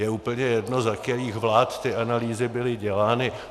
Je úplně jedno, za kterých vlád ty analýzy byly dělány.